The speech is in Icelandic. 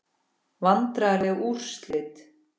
Vandræðaleg úrslit?